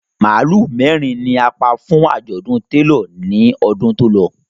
Màálù mẹ́rin ni a pa fún àjọ̀dún télọ̀ ní ọdún tó lọ